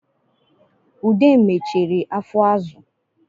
Ude mechere afọ azụ